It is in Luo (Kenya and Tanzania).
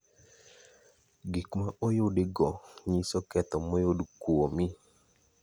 Gik ma oyudi go nyiso ketho moyud kwuomi